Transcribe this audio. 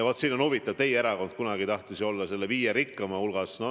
Vaat siin on huvitav, et teie erakond kunagi tahtis ju, et Eesti oleks viie kõige rikkama Euroopa riigi hulgas.